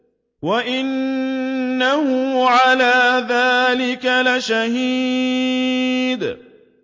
وَإِنَّهُ عَلَىٰ ذَٰلِكَ لَشَهِيدٌ